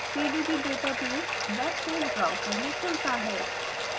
pdb database web page browser में खुलता है